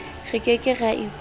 re ke ke ra ikwala